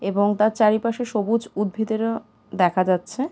এবং তার চারিপাশে সবুজ উদ্ভিদেরা-আ দেখা যাচ্ছে ।